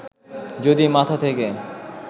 যদি মাথা থেকে